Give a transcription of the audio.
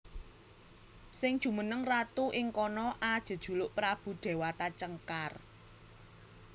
Sing jumeneng ratu ing kono ajejuluk Prabu Déwata Cengkar